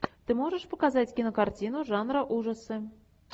ты можешь показать кинокартину жанра ужасы